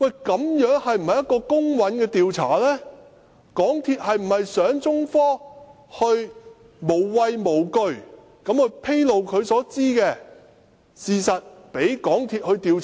港鐵公司是否想中科無畏無懼地披露它所知的事實，讓港鐵公司調查？